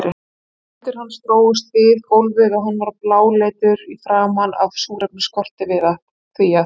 Fætur hans drógust við gólfið og hann var bláleitur í framan af súrefnisskorti, því að